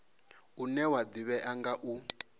une wa ḓivhea nga u